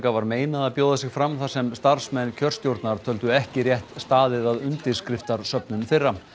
var meinað að bjóða sig fram þar sem starfsmenn kjörstjórnar töldu ekki rétt staðið að undirskriftasöfnun þeirra